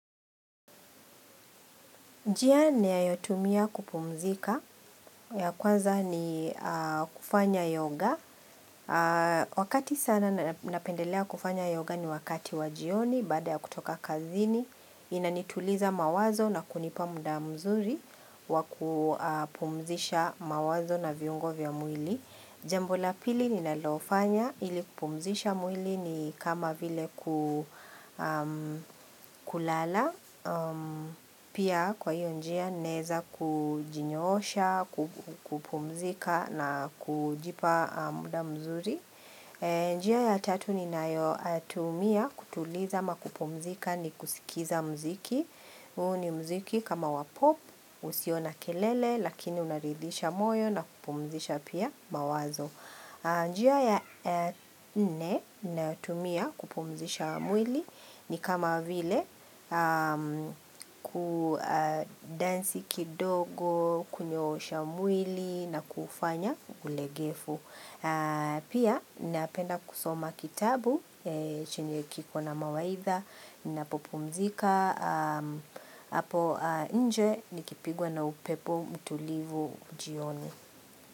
Njia niyayotumia kupumzika ya kwanza ni kufanya yoga. Wakati sana napendelea kufanya yoga ni wakati wa jioni baada ya kutoka kazini. Inanituliza mawazo na kunipa muda mzuri wa kupumzisha mawazo na viungo vya mwili. Jambo la pili ninalofanya ili kupumzisha mwili ni kama vile kulala. Pia kwa hiyo njia naeza kujinyoosha, kupumzika na kujipa muda mzuri njia ya tatu ninayotumia kutuliza ama kupumzika ni kusikiza muziki huu ni muziki kama wa pop, usio na kelele lakini unaridhisha moyo na kupumzisha pia mawazo njia ya nne natumia kupumzisha mwili ni kama vile kudansi kidogo, kunyoosha mwili na kufanya ulegevu. Pia, ninapenda kusoma kitabu, chenye kiko na mawaidha, ninapopumzika, hapo nje nikipigwa na upepo mtulivu jioni.